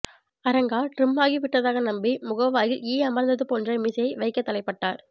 அரங்கா trim ஆகிவிட்டதாக நம்பி முகவாயில் ஈ அமர்ந்ததுபோன்ற மீசையை வைக்கத்தலைப்பட்டார்